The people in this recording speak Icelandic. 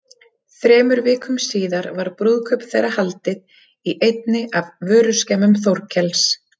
Þremur vikum síðar var brúðkaup þeirra haldið í einni af vöruskemmum Þórkels.